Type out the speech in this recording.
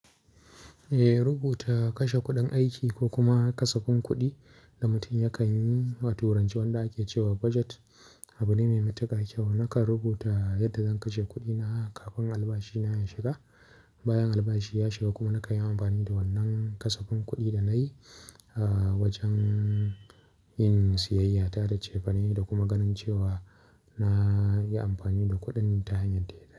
Eh, rubuta kashe kuɗin aiki ko kuma kasafin kuɗi da mutum yakan yi, wato wancen wanda ake cewa budget abu ne mai matuƙar kyau. Nakan rubuta yadda zan kashe kuɗina kafin albashina ya shiga. Bayan albashi ya shiga kuma nakan yi amfani da wannan kasafin kuɗi da na yi awajen yin siyayya ta da cefane da kuma ganin cewa na yi amfani da kuɗin ta hanyar daidai.